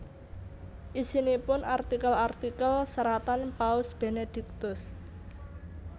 Isinipun artikel artikel seratan Paus Benediktus